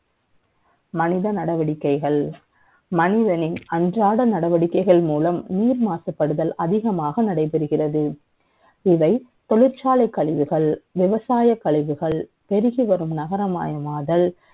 மனித நடவடிக்கைகள் மனிதனின் அன்றாட நடவடிக்கைகள் மூலம் நீர் மாசுபடுதல் அதிகமாக நடைபெறுகிறது இவை தொழிற்சாலை கழிவுகள் விவசாய கழிவுகள் பெருகிவரும் நகரமாயமாதல் ண